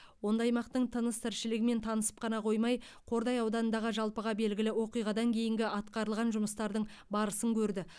онда аймақтың тыныс тіршілігімен танысып қана қоймай қордай ауданындағы жалпыға белгілі оқиғадан кейінгі атқарылған жұмыстардың барысын көрді